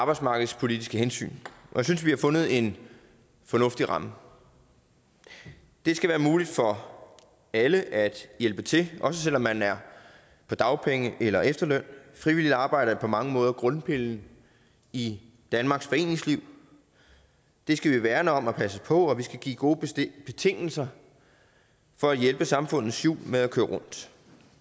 arbejdsmarkedspolitiske hensyn og jeg synes vi har fundet en fornuftig ramme det skal være muligt for alle at hjælpe til også selv om man er på dagpenge eller efterløn frivilligt arbejde er på mange måder grundpillen i danmarks foreningsliv det skal vi værne om og passe på og vi skal give gode betingelser for at hjælpe samfundets hjul med at køre rundt